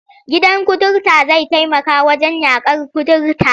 Gidan kutare zai taimaka wajen yaƙar kuturta.